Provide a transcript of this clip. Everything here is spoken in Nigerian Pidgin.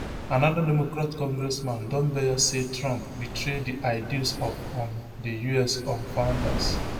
anoda democrat congressman don beyer say trump betray di ideals of um di us um founders